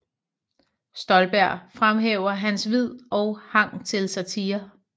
Stolberg fremhæver hans Vid og Hang til Satire